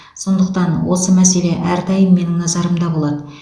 сондықтан осы мәселе әрдайым менің назарымда болады